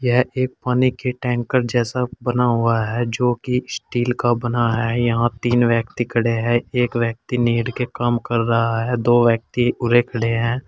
यह एक पानी की टैंकर जैसा बना हुआ है जो कि स्टील का बना है यहां तीन व्यक्ति खड़े हैं एक व्यक्ति नीड के काम कर रहा है दो व्यक्ति उरे खड़े हैं।